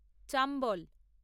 Chambal